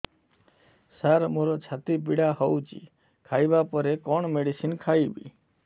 ସାର ମୋର ଛାତି ପୀଡା ହଉଚି ଖାଇବା ପରେ କଣ ମେଡିସିନ ଖାଇବି